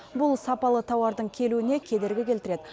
бұл сапалы тауардың келуіне кедергі келтіреді